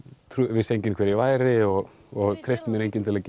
vissi enginn hver ég væri og treysti mér enginn til að